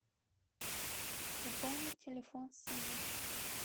пополнить телефон сына